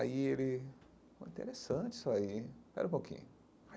Aí ele, interessante isso aí, espera um pouquinho.